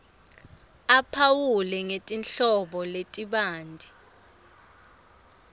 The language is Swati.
aphawule ngetinhlobo letibanti